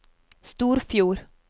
Storfjord